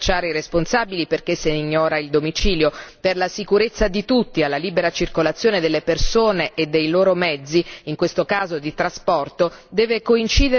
Per la sicurezza di tutti, alla libera circolazione delle persone e dei loro mezzi, in questo caso di trasporto, deve coincidere la libera e veloce circolazione delle informazioni.